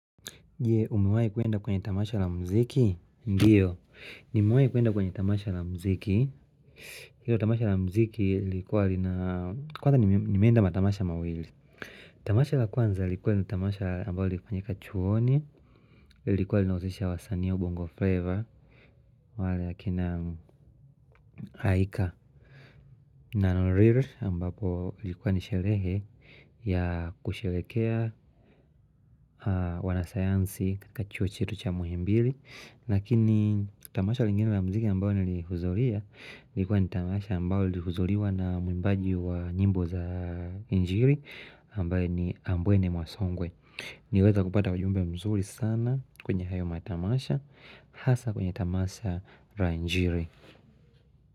Je umewai kwenda kwenye tamasha la muziki? Ndiyo Nimewai kwenda kwenye tamasha la muziki Hilo tamasha la muziki ilikuwa lina Kwanza nimenda matamasha mawili. Tamasha la kwanza lilikuwa lina tamasha ambao lilifanyika chuoni lilikuwa linahusisha wasanii wa ubongo flavor wale akina Aika na nariru ambapo ilikuwa ni sherehe ya kusherehekea wanasayansi katika chuo chetu cha muhimbili Lakini tamasha lingine la muziki ambao nilihudhuria ilikuwa ni tamasha ambao lihudhuriwa na mwimbaji wa nyimbo za injili ambaye ni ambwene mwasongwe Niliweza kupata ujumbe mzuri sana kwenye hayo matamasha Hasa kwenye tamasha la injili.